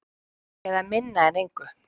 Eða minna en engu.